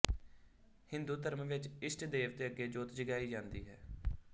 ਹਿੰਦੂ ਧਰਮ ਵਿੱਚ ਇਸ਼ਟ ਦੇਵਤੇ ਅੱਗੇ ਜੋਤ ਜਗਾਈ ਜਾਂਦੀ ਹੈ